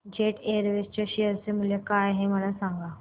jet Airways च्या share चे मूल्य काय आहे मला सांगा